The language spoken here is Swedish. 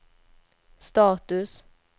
status